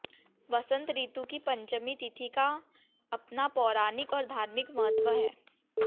वसंत ऋतु की पंचमी तिथि का अपना पौराणिक और धार्मिक महत्त्व है